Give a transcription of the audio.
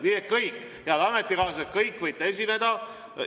Nii et, head ametikaaslased, te kõik võite esineda.